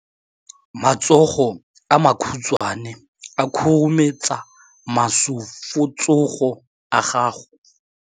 Matsogo a makhutshwane a khurumetsa masufutsogo a gago.